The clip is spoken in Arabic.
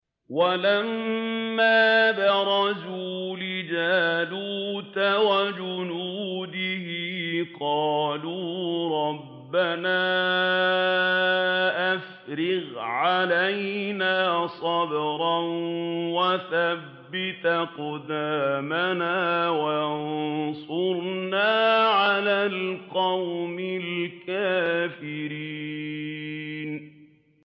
وَلَمَّا بَرَزُوا لِجَالُوتَ وَجُنُودِهِ قَالُوا رَبَّنَا أَفْرِغْ عَلَيْنَا صَبْرًا وَثَبِّتْ أَقْدَامَنَا وَانصُرْنَا عَلَى الْقَوْمِ الْكَافِرِينَ